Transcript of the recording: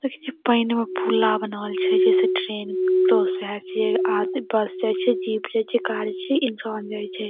देखीं छी पैन में फुला बनावल छे जैसे ट्रैन छे आ बस जाइ छे जीप जाइ छे कार जाइ छे इंसान जाइ छे।